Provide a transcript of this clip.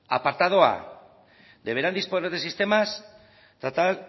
apartado a deberán disponer de sistemas